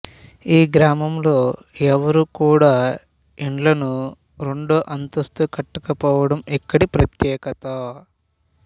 ఈ గ్రామంలో ఎవరు కూడా ఇండ్లను రెండో అంతస్తు కట్టకపోవడం ఇక్కడి ప్రత్యేకత